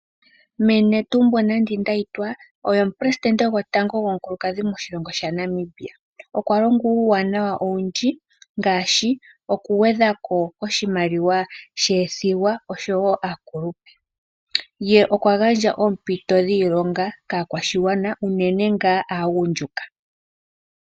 Mee Netumbo Nandi Ndaitwah oye omupelesitende gwotango gomukulukadhi moshilongo shaNamibia, okwa longa uuwanawa owundji ngaashi okugwedha ko oshimaliwa shoothigwa oshowo aakulupe, ye okwa gandja oompito dhiilonga kaakwashigwana uunene ngaa aagundjuka.